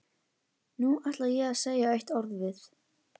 Nú ætla ég að segja eitt orð við